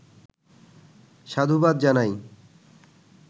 সাধুবাদ জানাই।